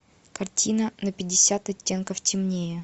картина на пятьдесят оттенков темнее